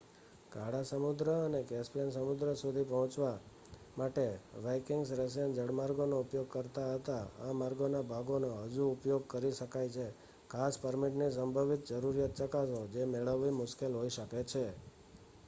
કાળા સમુદ્ર અને કેસ્પિયન સમુદ્ર સુધી પહોંચવા માટે વાઇકિંગ્સ રશિયન જળમાર્ગોનો ઉપયોગ કરતા હતા.આ માર્ગોના ભાગોનો હજી ઉપયોગ કરી શકાય છે ખાસ પરમિટની સંભવિત જરૂરિયાત ચકાસો જે મેળવવી મુશ્કેલ હોઈ શકે છે